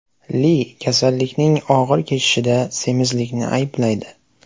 Li kasallikning og‘ir kechishida semizlikni ayblaydi.